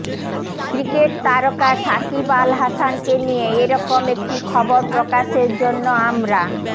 cricket তারকা সাকিব আল হাসানকে নিয়ে এ রকম একটি খবর প্রকাশের জন্য আমরা